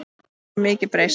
Það hefur mikið breyst.